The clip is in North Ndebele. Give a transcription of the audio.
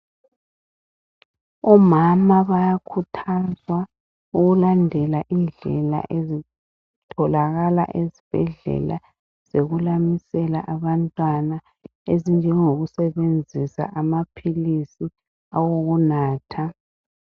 Omama bayakhuthazwa ukulandela indlela ezitholakala esibhedlela zokulamisela abantwana ezinjengoku sebenzisa amaphilisi awokunatha.